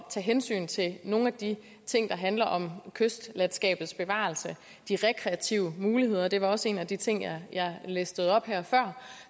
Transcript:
tage hensyn til nogle af de ting der handler om kystlandskabets bevarelse og de rekreative muligheder og det var også en af de ting jeg listede op her før